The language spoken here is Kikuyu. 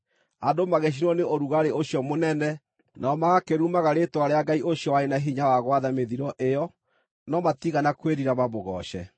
Andũ magĩcinwo nĩ ũrugarĩ ũcio mũnene, nao magakĩrumaga rĩĩtwa rĩa Ngai ũcio warĩ na hinya wa gwatha mĩthiro ĩyo, no matiigana kwĩrira mamũgooce.